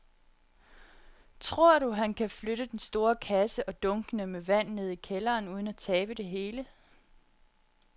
Tror du, at han kan flytte den store kasse og dunkene med vand ned i kælderen uden at tabe det hele?